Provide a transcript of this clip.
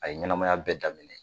A ye ɲɛnamaya bɛɛ daminɛ